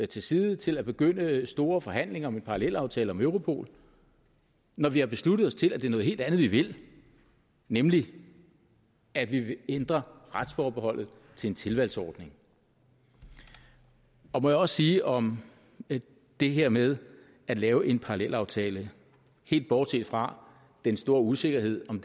til side til at begynde store forhandlinger om en parallelaftale om europol når vi har besluttet os til at det er noget helt andet vi vil nemlig at vi vil ændre retsforbeholdet til en tilvalgsordning må jeg også sige om det her med at lave en parallelaftale helt bortset fra den store usikkerhed om